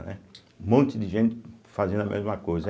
Né, um monte de gente fazendo a mesma coisa.